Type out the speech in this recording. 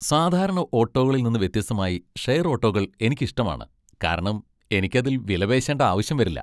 സാധാരണ ഓട്ടോകളിൽ നിന്ന് വ്യത്യസ്തമായി, ഷെയർ ഓട്ടോകൾ എനിക്ക് ഇഷ്ടമാണ് , കാരണം എനിക്ക് അതിൽ വിലപേശേണ്ട ആവശ്യം വരില്ല.